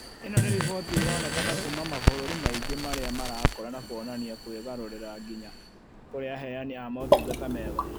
Ĩno nĩ rĩboti ĩronekana kuuma mabũrũri maing ĩ marĩa marakũra na kuonania kwĩgarũrĩra nginya kũrĩ aheani a motungata mega